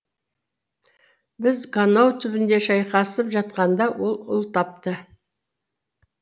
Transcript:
біз ганау түбінде шайқасып жатқанда ол ұл тапты